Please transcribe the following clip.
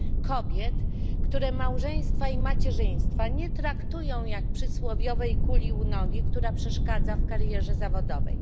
Kobiet, które małżeństwa i macierzyństwa nie traktują jak przysłowiowej kuli u nogi, która przeszkadza w karierze zawodowej.